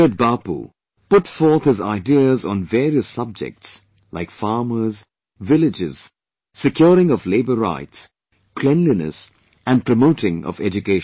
Revered Bapu, put forth his ideas on various subjects like Farmers, villages, securing of labour rights, cleanliness and promoting of education